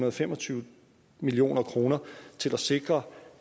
og fem og tyve million kroner til at sikre